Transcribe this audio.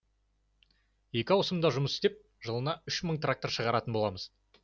екі аусымда жұмыс істеп жылына үш мың трактор шығаратын боламыз